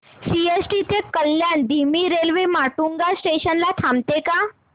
CST ते कल्याण धीमी railway Matunga station ला थांबते का